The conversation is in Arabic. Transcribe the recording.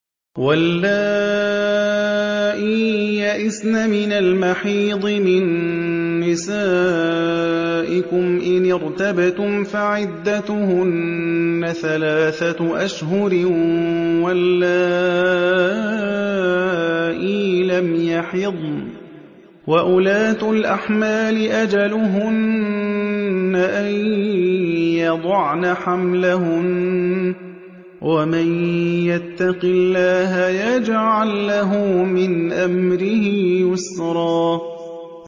وَاللَّائِي يَئِسْنَ مِنَ الْمَحِيضِ مِن نِّسَائِكُمْ إِنِ ارْتَبْتُمْ فَعِدَّتُهُنَّ ثَلَاثَةُ أَشْهُرٍ وَاللَّائِي لَمْ يَحِضْنَ ۚ وَأُولَاتُ الْأَحْمَالِ أَجَلُهُنَّ أَن يَضَعْنَ حَمْلَهُنَّ ۚ وَمَن يَتَّقِ اللَّهَ يَجْعَل لَّهُ مِنْ أَمْرِهِ يُسْرًا